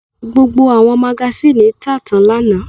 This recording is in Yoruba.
Gbogbo àwọn magasínì tà tán lánàá.